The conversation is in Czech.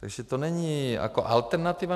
Takže to není jako alternativa.